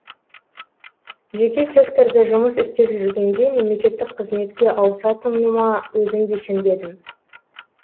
жеке секторда жұмыс істеп жүргенде мемлекеттік қызметке ауысатыныма өзім де сенбедім